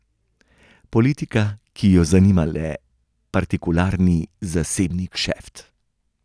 Politika, ki jo zanima le partikularni, zasebni kšeft.